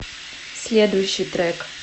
следующий трек